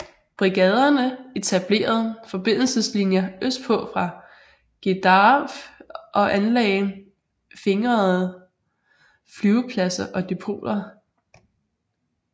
Brigaderne etablerede forbindelseslinjer østpå fra Gedaref og anlagde fingerede flyvepladser og depoter